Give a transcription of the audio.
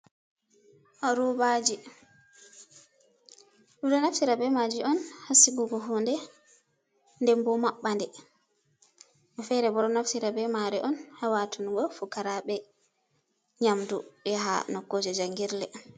Robaji, ɗo naftire be maji on ha sigugo hunde, nden bo maɓɓa nde. Woɓbe fere bo ɗo naftira be mare on ha watungo fukaraɓe nyamdu, yaha nokkuje jangirle.